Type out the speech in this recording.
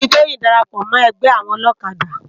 Ánà ni Toyin dàrápò mò ègbè áwòn òlòkádá